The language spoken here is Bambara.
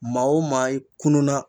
Maa o maa i kununa